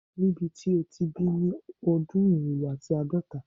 Nibiti o ti bi ni odun irinwo ati aadọta